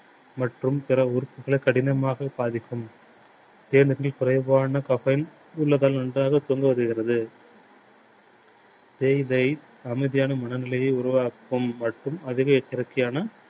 மற்றும் பிற உறுப்புகளை கடினமாக பாதிக்கும். ஏனெனில் குறைவான caffeine நன்றாக வருகிறது. தேயிலை அமைதியான மனநிலையை உருவாக்கும் மற்றும் அதுவே